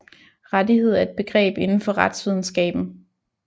Rettighed er et begreb indenfor retsvidenskaben